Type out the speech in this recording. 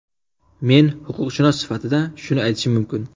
Men huquqshunos sifatida shuni aytishim mumkin.